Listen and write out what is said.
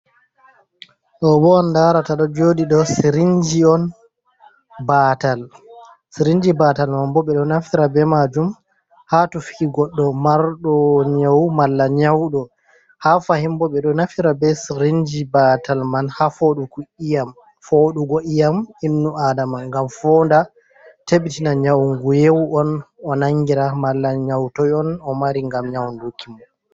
Ɗoo bo on ndaarata ɗo jooɗi ɗoo sirinji on. Baatal, sirinji baatal man bo ɓe ɗo nafira bee maajum ha tufuki goɗɗo marɗo nyaw, malla nyawɗo. Ha fahin bo ɓe ɗo nafira bee sirinji baatal man ha fooɗugo ƴiiƴam innuaadama, ngam foonda tabbitina nyaw nguyeewu on o nanngira. Malla nyaw toy on o mari ngam nyawnduki mo.